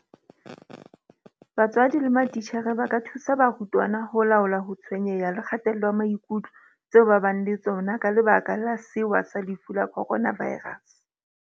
BATSWADI LE MATITJHERE ba ka thusa barutwana ho laola ho tshwenyeha le kgatello ya maikutlo tseo ba ka bang le tsona ka lebaka la sewa sa lefu la Coronavirus.